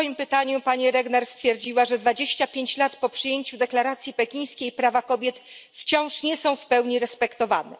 W swoim pytaniu pani Regner stwierdziła, że 25 lat po przyjęciu deklaracji pekińskiej prawa kobiet wciąż nie są w pełni respektowane.